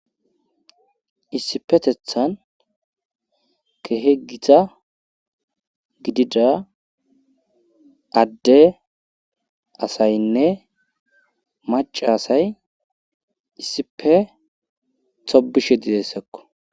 issipetethan kehegita gidida adde asaynne maca asay issipe tobishe didessakko